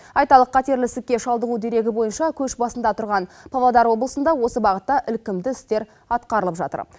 айталық қатерлі ісікке шалдығу дерегі бойынша көш басында тұрған павлодар облысында осы бағытта ілкімді істер атқарылып жатыр